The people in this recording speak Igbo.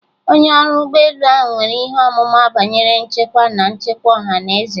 Onye ọrụ ụgbọ elu ahụ nwere ihe ọmụma banyere nchekwa na nchekwa ọha na eze